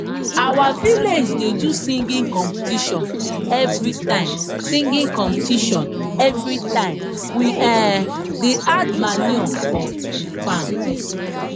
our village da do singing competition everytime singing competition everytime we um da add manue for farm